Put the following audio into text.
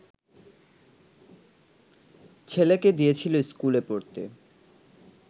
ছেলেকে দিয়েছিল স্কুল পড়তে